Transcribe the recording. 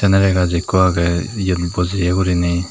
nare gass ekko aagey eyot bojiye guriney.